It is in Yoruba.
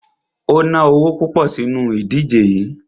O ná owo púpọ̀ sínu ìdíje yií.